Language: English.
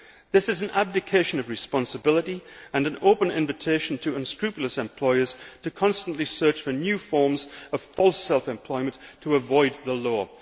This is an abdication of responsibility and an open invitation to unscrupulous employers to constantly search for new forms of false' self employment to avoid the law.